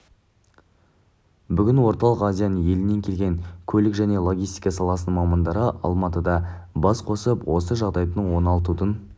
бүгін орталық азияның елінен келген көлік және логистика саласының мамандары алматыда бас қосып осы жағдайды оңалтудың